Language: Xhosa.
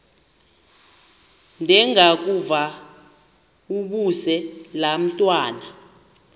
ndengakuvaubuse laa ntwana